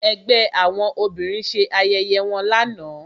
Ẹgbẹ́ àwọn obìnrin ṣe ayẹyẹ wọn lánàá